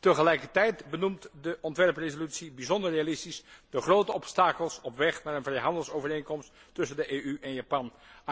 Tegelijkertijd benoemt de ontwerpresolutie bijzonder realistisch de grote obstakels op weg naar een vrijhandelsovereenkomst tussen de EU en Japan.